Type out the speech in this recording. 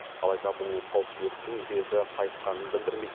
алайда бұл қауіптіліктің беті қайтқанын білдірмейді